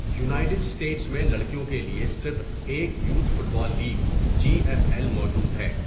United States میں لڑکیوں کے لیے صرف ایک youth football league, G F L, موجود ہے۔